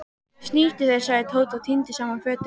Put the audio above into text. Snýttu þér sagði Tóti og tíndi saman fötin.